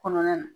Kɔnɔna na